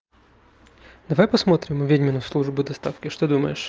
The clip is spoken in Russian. давай посмотрим ведьмина служба доставки что думаешь